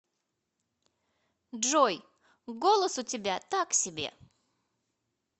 джой голос у тебя так себе